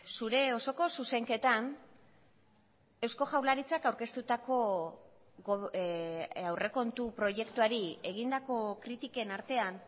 zure osoko zuzenketan eusko jaurlaritzak aurkeztutako aurrekontu proiektuari egindako kritiken artean